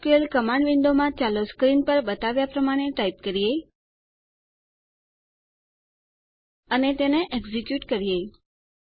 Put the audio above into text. SQL command વિન્ડોમાં ચાલો screen પર બતાવ્યાં પ્રમાણે ટાઈપ કરીએ અને તેને એકઝેક્યુંટ કરીએ